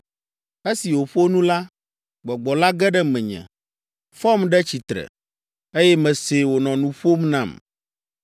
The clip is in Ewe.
Esi wòƒo nu la, Gbɔgbɔ la ge ɖe menye, fɔm ɖe tsitre, eye mesee wònɔ nu ƒom nam.